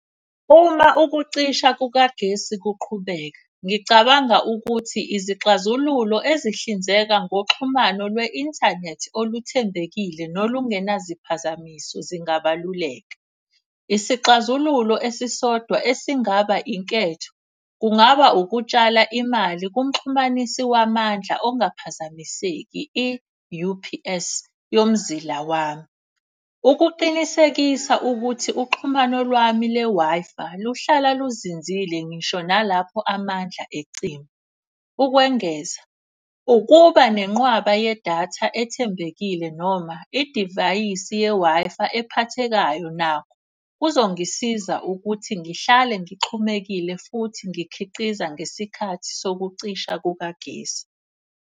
Uma ukucisha kukagesi kuqhubeka, ngicabanga ukuthi izixazululo ezihlinzeka ngokuxhumana lwe-inthanethi oluthembekile nolungena ziphazamiso zingabaluleka. Isixazululo esisodwa esingaba inketho, kungaba ukutshala imali kumxhumanisi wamandla ongaphazamiseki i-U_P_S yokuzila wami. Ukuqinisekisa ukuthi uxhumano lwami le-Wi-Fi luhlala luzinzile ngisho nalapho amandla ecima. Ukwengeza, ukuba nenqwaba yedatha ethembekile noma idivayisi ye-Wi-Fi ephathekayo nakho. Kuzongisiza ukuthi ngihlale ngixhumekile futhi ngikhiqiza ngesikhathi sokucisha kukagesi.